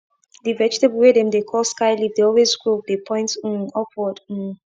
di vegetable wey dem dey call sky leaf dey always grow dey point um upward um